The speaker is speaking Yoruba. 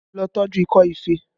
Lọ tọju ikọ́ ife!